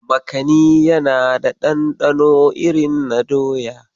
Makani ya na da ɗanɗano irin na doya.